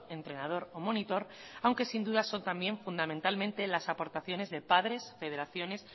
entrenador o monitor aunque sin duda son también fundamentalmente las aportaciones de padres federaciones